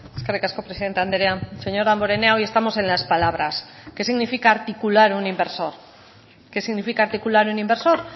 eskerrik asko presidente andrea señor damborenea hoy estamos en las palabras qué significa articular un inversor qué significa articular un inversor